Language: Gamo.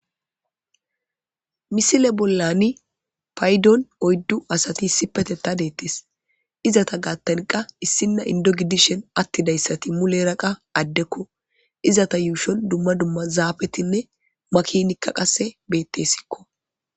Misile bollan payidon oyidu asati issipetetha eqis izata gidon issina inido gidishin atidaget mulera qa adeko izeta yushon duma duma zapetine makinatika betesko